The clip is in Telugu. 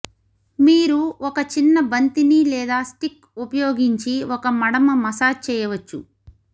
మీరు ఒక చిన్న బంతిని లేదా స్టిక్ ఉపయోగించి ఒక మడమ మసాజ్ చేయవచ్చు